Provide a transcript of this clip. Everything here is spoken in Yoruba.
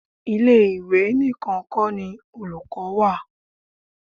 Ile-iwe nìkan kó ni olùkọ́ wà.